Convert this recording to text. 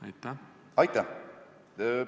Aitäh!